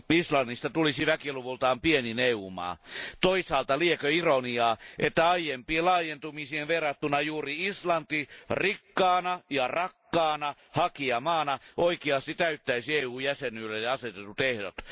Islannista tulisi väkiluvultaan pienin EU maa. Toisaalta liekö ironiaa, että aiempiin laajentumisiin verrattuna juuri Islanti rikkaana ja rakkaana hakijamaana oikeasti täyttäisi EU jäsenyydelle asetetut ehdot.